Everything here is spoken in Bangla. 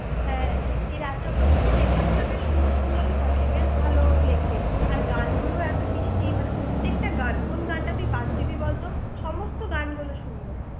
হ্যাঁ এই রাজ চক্রবর্তী লেখাগুলো বেশ সুন্দর সুন্দর থাকে বেশ ভালো লেখে আর গানগুলো এত মিষ্টি মানে প্রত্যেকটা গান কোন গানটা তুই বাদ দিবি বলতো সমস্ত গানগুলো সুন্দর